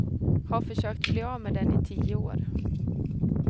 Har försökt bli av med den i tio år.